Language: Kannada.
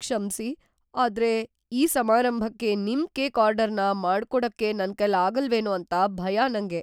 ಕ್ಷಮ್ಸಿ, ಆದ್ರೆ ಆ ಸಮಾರಂಭಕ್ಕೆ ನಿಮ್ ಕೇಕ್ ಆರ್ಡರ್‌ನ ಮಾಡ್ಕೊಡಕ್ಕೆ ನನ್ಕೈಲಾಗಲ್ವೇನೋ ಅಂತ ಭಯ ನಂಗೆ.